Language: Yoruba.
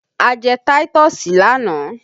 A jẹ táítọ̀sì lánàá